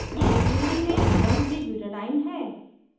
यह 3d में 13butadiene है